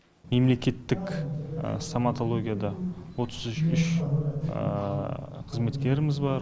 мемлекеттік стоматологияда отыз үш үш қызметкеріміз бар